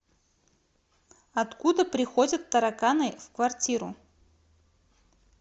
откуда приходят тараканы в квартиру